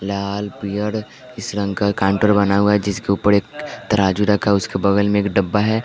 लाल पियर इस रंग का काउंटर बना हुआ है जिसके ऊपर एक तराजू रखा उसके बगल में एक डब्बा है।